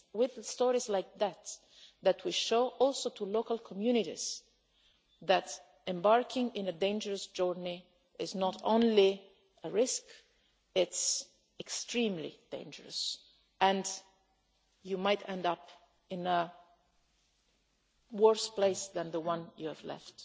It is with stories like this that we also show local communities that embarking on a dangerous journey is not only a risk but is extremely dangerous and you might end up in a worse place than the one you left.